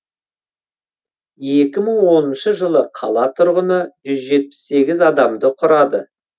екі мың оныншы жылы қала тұрғыны жүз жетпіс сегіз адамды құрады